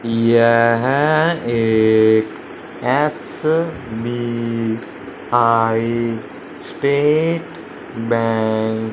यह एक SBI state bank --